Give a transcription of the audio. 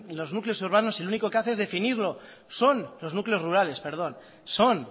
los núcleos urbanos lo único que hace es definirlo los núcleos rurales perdón son